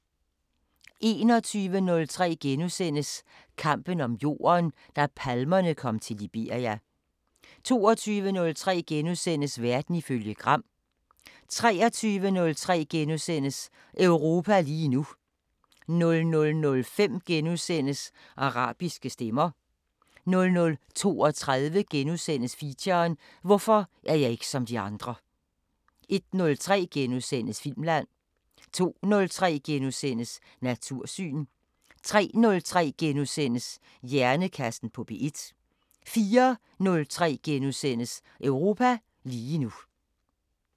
21:03: Kampen om jorden – da palmerne kom til Liberia * 22:03: Verden ifølge Gram * 23:03: Europa lige nu * 00:05: Arabiske Stemmer * 00:32: Feature: Hvorfor er jeg ikke som de andre * 01:03: Filmland * 02:03: Natursyn * 03:03: Hjernekassen på P1 * 04:03: Europa lige nu *